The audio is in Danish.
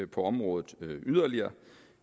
på området yderligere